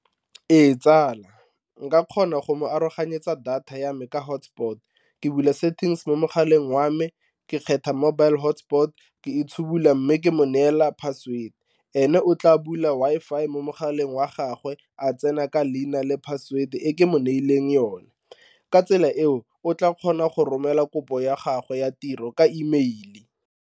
Ee, tsala nka kgona go mo aroganyetsa data ya me ka hotspot ke bula settings mo mogaleng wa me ke kgetha mobile hotspot ke itshudula mme ke mo neela password, ene o tla bula Wi-Fi mo mogaleng wa gagwe a tsena ka leina le password-e ke mo neileng yone ka tsela eo o tla kgona go romela kopo ya gagwe ya tiro ka E mail-e.